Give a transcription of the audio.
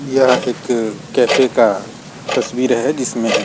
यह एक कैफे का तस्वीर है जिसमें --